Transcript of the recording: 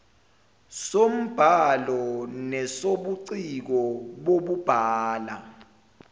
sombhalo nesobuciko bokubhala